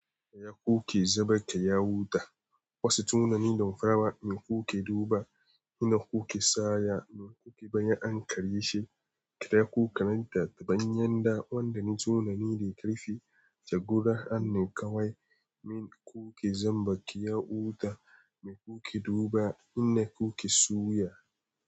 Kaya ku ke zaba, kaya wuta. Wasu tunani don farawa, in ku ke duba, ina ku ke saya? Don ku ke bayyan, kare shi, ka da ku sananta ta hanyar da wanda ke tunani ya ke da ƙarfi. Jagora, hannun kawai, min ku ke zamba, ku yi wuta. Me ku ke duba? Ina ku ke suya?